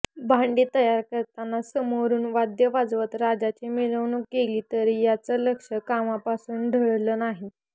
भांडी तयार करताना समोरून वाद्य वाजवत राजाची मिरवणूक गेली तरी याचं लक्ष कामापासून ढळलं नाही